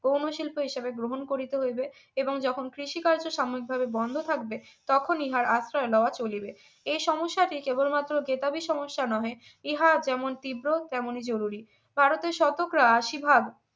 গৌণশিল্পে এই সবে গ্রহণ করিতে হইবে এবং যখন কৃষিকার্য সাময়িকভাবে বন্ধ থাকবে তখন ইহার আশ্রয় লওয়া চলিবে এই সমস্যাতে কেবলমাত্র খেতাবি সমস্যা নহে ইহা যেমন তীব্র তেমনি জরুরী ভারতের শতকরা আশি ভাগ